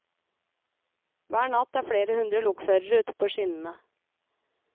Hver natt er flere hundre lokførere ute på skinnene.